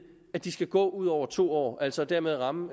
at de skal gå ledige ud over to år og altså dermed ramme